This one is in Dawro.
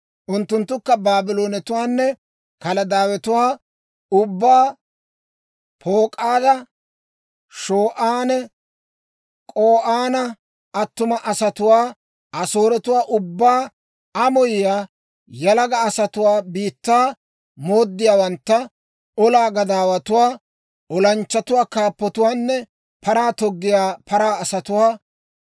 Unttunttukka Baabloonetuwaanne Kaladaawetuwaa ubbaa, Pak'ooda, Shoo'anne K'o'aana attuma asatuwaa, Asooretuwaa ubbaa, amoyiyaa yalaga asatuwaa, biittaa mooddiyaawantta, olaa gadaawatuwaa, olanchchatuwaa, kaappatuwaanne paraa toggiyaa paraa asatuwaa.